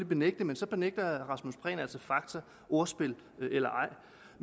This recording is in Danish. benægte men så benægter herre rasmus prehn altså fakta ordspil eller